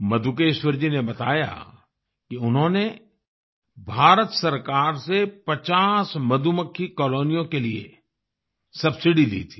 मधुकेश्वर जी ने बताया कि उन्होंने भारत सरकार से 50 मधुमक्खी कॉलोनियों के लिए सबसिडी ली थी